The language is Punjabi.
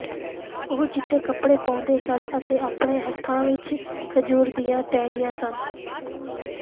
ਉਹ ਚਿੱਟੇ ਕੱਪੜੇ ਪਾਉਂਦੇ ਸਨ ਅਤੇ ਆਪਣੇ ਹੱਥਾਂ ਵਿਚ ਖਜੂਰ ਦੀਆਂ ਟਾਹਣੀਆਂ ਸਨ